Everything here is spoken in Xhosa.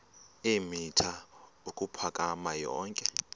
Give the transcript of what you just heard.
eemitha ukuphakama yonke